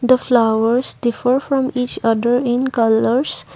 the flowers differ from each other in colours.